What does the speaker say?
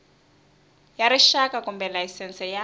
ya rixaka kumbe layisense ya